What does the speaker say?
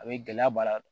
A bɛ gɛlɛya baara